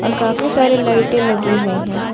और काफी सारी लाइटें लगी हुई है।